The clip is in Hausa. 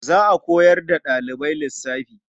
Za a koyar da ɗalibai lissafi.